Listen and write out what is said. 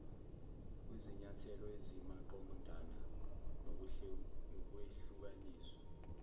kwizinyathelo ezimaqondana nokwehlukaniswa